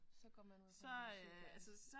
Så går man ud fra du er sygeplejerske